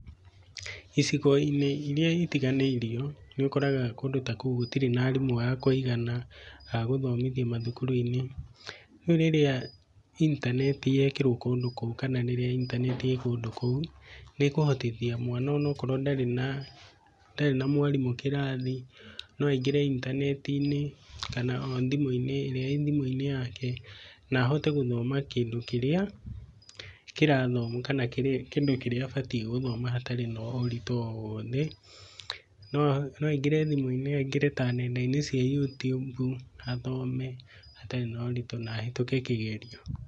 Icigo-inĩ iria itiganĩirio nĩ ũkoraga kũndũ ta kũu gũtirĩ na arimũ a kũigana ,a gũthomithia mathukuru-inĩ, rĩu rĩrĩa intaneti yekĩrwo kũndũ kũu kana rĩrĩa intaneti ĩĩ kũndũ kũu, nĩkũhotithia mwana ona korwo ndarĩ na mwarimũ kĩrathi, no agingĩre intaneti-inĩ kana ĩrĩa ĩthimũ-inĩ yake nahote gũthoma kĩndũ kĩrĩa kĩrathomwo kana kĩndũ kĩrĩa abatie gũthoma hatarĩ na ũritũ o wothe no aingĩre thimũ-inĩ aingarĩ ta nenda-inĩ cia Youtube, athome atarĩ na ũritũ na ahetũke kĩgerio.